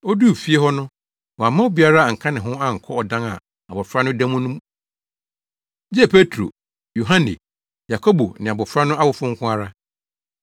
Oduu fie hɔ no, wamma obiara anka ne ho ankɔ ɔdan a abofra no da mu no mu gye Petro, Yohane, Yakobo ne abofra no awofo nko ara.